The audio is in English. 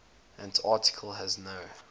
antarctica has no